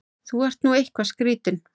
Þú ert nú eitthvað skrýtinn!